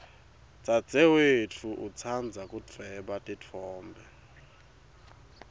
dzadzewetfu utsandza kudvweba titfombe